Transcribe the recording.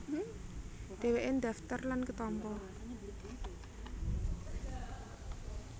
Dhèwèké ndhaftar lan ketampa